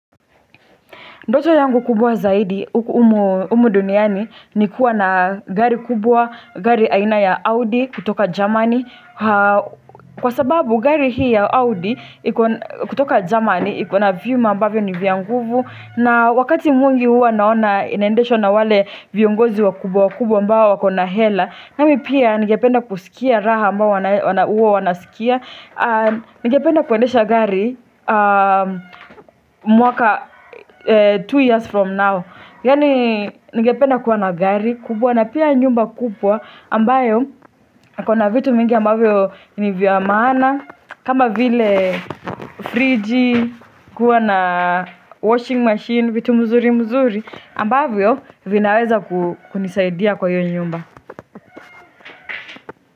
Ndoto yangu kubwa zaidi, humu duniani, ni kuwa na gari kubwa, gari aina ya Audi kutoka Germani. Kwa sababu gari hii ya Audi kutoka Germani, iko na vyuma ambavyo ni vya nguvu. Na wakati mwingi huwa naona inaendeshwa na wale viongozi wa kubwa wakubwa ambao wako na hela. Nami pia ningependa kusikia raha ambayo huwa wanasikia. Ningependa kuendesha gari mwaka Two years from now Yani ningependa kuwa na gari kubwa na pia nyumba kubwa ambayo iko na vitu mingi ambayo ni vya maana kama vile friji kuwa na Washing machine vitu mzuri mzuri ambavyo vinaweza kunisaidia kwa hiyo nyumba.